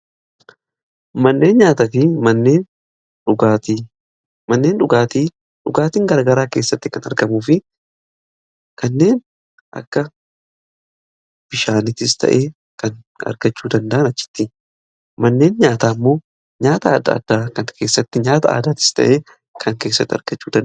Manneen nyaataa fi manneen dhugaatii, manneen dhugaatiin gargaraa keessatti kan argamuuf kanneen akka bishaanitis ta'ee kan argachuu danda'an achitti. Manneen nyaata ammoo nyaata adda addaa kan keessatti nyaata aadaatis ta'ee kan keessatti argachuudhaa.